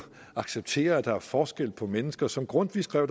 acceptere at der er forskel på mennesker som grundtvig skrev og